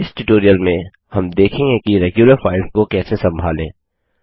इस ट्यूटोरियल में हम देखेंगे कि रेग्यूलर फाइल्स को कैसे संभालें